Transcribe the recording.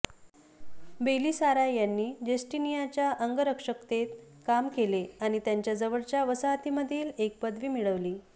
Belisarius यांनी जस्टीनियाच्या अंगरक्षकतेत काम केले आणि त्यांच्या जवळच्या वसाहतींमधील एक पदवी मिळवली